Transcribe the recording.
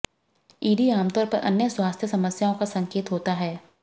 ED आमतौर पर अन्य स्वास्थ्य समस्याओं का संकेत होता है